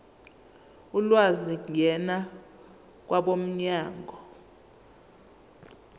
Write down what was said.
ulwazi ngena kwabomnyango